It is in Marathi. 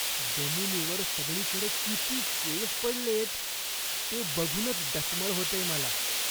जमिनीवर सगळीकडे किती केस पडलेत. ते बघूनच डचमळ होतेय मला.